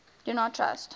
do not trust